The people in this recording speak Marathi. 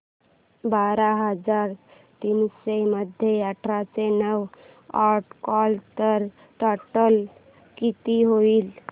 बारा हजार तीनशे मध्ये आठशे नऊ अॅड केले तर टोटल किती होईल